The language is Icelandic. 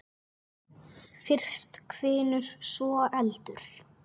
Fyrst hvinur, svo eldur.